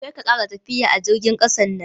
Karka ƙara tafiya a jirgin ƙasan nan.